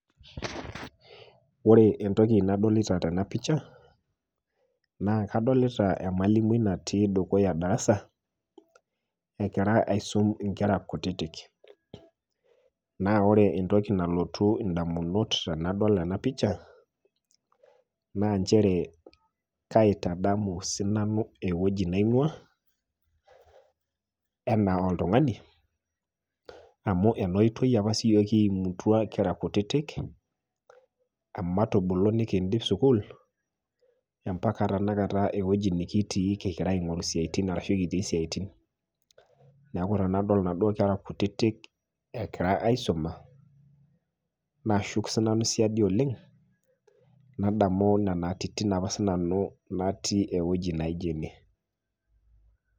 Ore entoki nadolita tena picha naa kadolita emalimui natii dukuya e  darasa egira aisum inkera kutitik. Naa ore entoki nalotu indamunot tenadol ena  picha naa nchere kaitadamu sinanu ewueji naing'uaa enaa oltung'ani amu enaoitoi opa siyiok kiimutua kira kutitik ematubulu nikiindip sukul empaka tenakata ewueji nikitii kigira aing'oru isiaitin arashu kitii siaitin. Neaku ore enadol naduo kera kutitik egira aisuma naashuku sinanu siadi oleng' nadamu nenaatitin apa sinanu natii ewueji naijo ene.